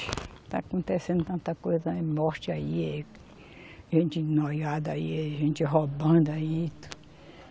Está acontecendo tanta coisa aí, morte aí eh, gente noiada aí, eh gente roubando aí.